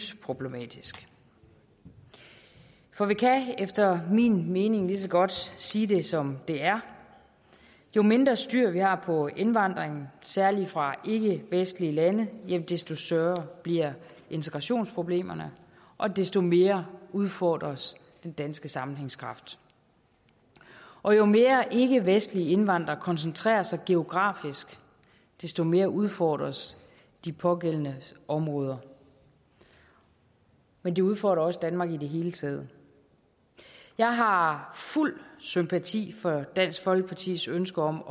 problematisk for vi kan efter min mening lige så godt sige det som det er jo mindre styr vi har på indvandringen særlig fra ikkevestlige lande desto større bliver integrationsproblemerne og desto mere udfordres den danske sammenhængskraft og jo mere ikkevestlige indvandrere koncentrerer sig geografisk desto mere udfordres de pågældende områder men det udfordrer også danmark i det hele taget jeg har fuld sympati for dansk folkepartis ønske om